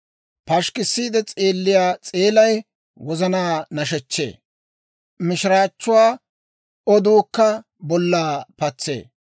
Pashikkiide s'eelliyaa s'eelay wozanaa nashechchee; mishiraachchuwaa oduukka bollaa patsee.